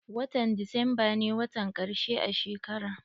Watan desemba ne watan ƙarshe a shekara.